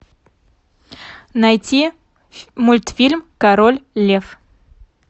найти мультфильм король лев